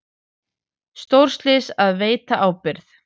Stórslys að veita ábyrgð